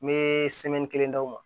Me kelen d'aw ma